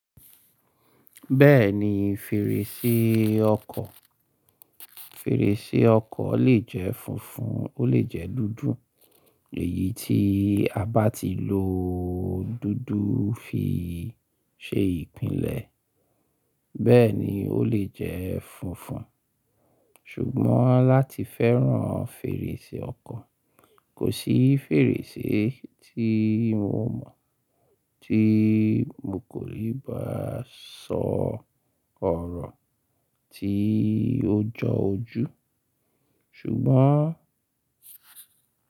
Bẹ́ẹ̀ni fèrèsé ọkọ̀, fèrèsé ọkọ̀ lè jẹ́ funfun, ó lè jẹ́ dúdú. Èyí tí a bá ti lo dúdú fi í ṣe ìpìlẹ̀, bẹ́ẹ̀ni ó lè jẹ́ funfun. Ṣùgbọ́n láti fẹ́ràn fèrèsé ọkọ̀, kò sí fèrèsé tí mo mọ̀ tí mo kò lè bá sọ ọ̀rọ̀ tí ó jọ ojú. Ṣùgbọ́n.